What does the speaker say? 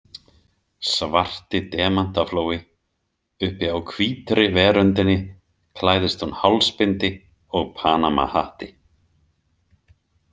Svarti demantaflói Uppi á hvítri veröndinni klæðist hún hálsbindi og Panamahatti.